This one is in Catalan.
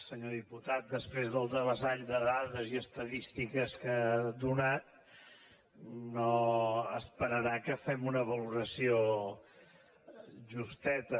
senyor diputat després del devessall de dades i estadístiques que ha donat no deu esperar que en fem una valoració justeta